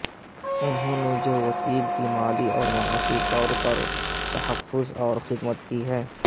نہوں نے جو وسیب کی مالی اور معاشی طور پراور تحفظ خامت کی ہے